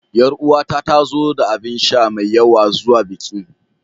Ƴaruwata ta zo da abinsha mai yawa zuwa bikin.